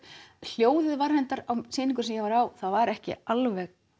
hljóðið var reyndar á sýningunni sem ég var á ekki alveg